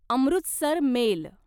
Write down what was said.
Amritsar mail